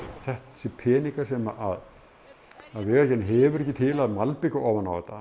þessir peningar sem Vegagerðin hefur ekki til að malbika ofan á þetta